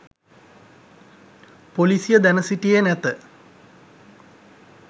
පොලිසිය දැන සිටියේ නැත